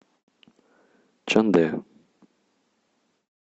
чандэ